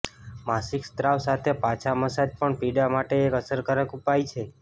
માસિક સ્રાવ સાથે પાછા મસાજ પણ પીડા માટે એક અસરકારક ઉપાય છે